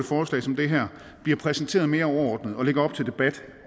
forslag som det her bliver præsenteret mere overordnet og lægger op til debat